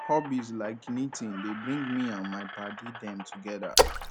hobbies like knitting dey bring me and my paddy dem togeda